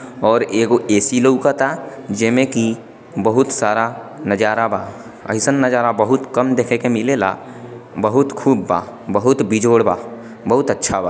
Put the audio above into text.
और एक ऐ_सी लवकता जिमें की बहुत सारा नजारा बा अइसन नजारा बहुत कम देखे के मिलेला बहुत खूब बा बहुत बिजोड बा बहुत अच्छा बा ।